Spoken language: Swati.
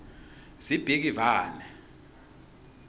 sibhikivane